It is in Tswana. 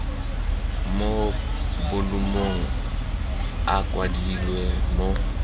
mo bolumong a kwadilwe mo